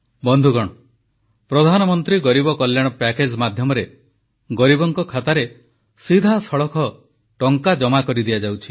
ବନ୍ଧୁଗଣ ପ୍ରଧାନମନ୍ତ୍ରୀ ଗରିବ କଲ୍ୟାଣ ପ୍ୟାକେଜ୍ ମାଧ୍ୟମରେ ଗରିବଙ୍କ ଖାତାରେ ସିଧାସଳଖ ଟଙ୍କା ଜମା କରିଦିଆଯାଉଛି